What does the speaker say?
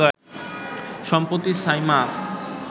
সম্প্রতি সাইমা